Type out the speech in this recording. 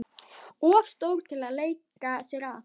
Of stór til að leika sér að.